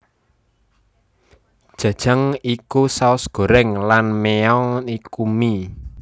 Jajang iku saos goreng lan myeon kui mie